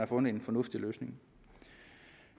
fundet en fornuftig løsning